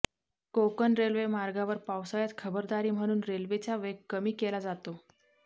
Konkan railway मार्गावर पावसाळ्यात खबरदारी म्हणून रेल्वेचा वेग कमी केला जातो